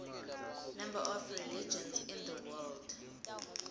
number of religions in the world